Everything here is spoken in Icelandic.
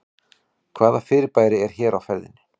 hvaða fyrirbæri er hér á ferðinni